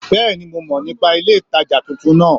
Béèni mo mo nípa ilé ìtajà titun náà